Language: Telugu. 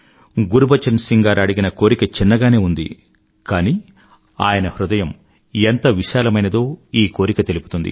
గురుబచన్ సింగ్ గారు అడిగిన కోరిక చిన్నగానే ఉంది కానీ ఆయన హృదయం ఎంత విశాలమైనదో ఈ కోరిక తెలుపుతుంది